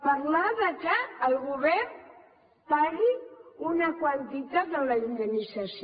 parlar que el govern pagui una quantitat de la indemnització